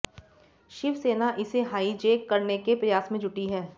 शिवसेना इसे हाईजैक करने के प्रयास में जुटी है